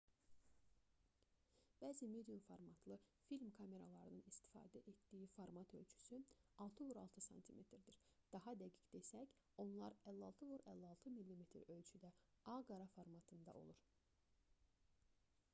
bəzi medium formatlı film kameralarının istifadə etdiyi format ölçüsü 6x6 sm-dir daha dəqiq desək onlar 56x56 mm ölçüdə ağ-qara formatında olur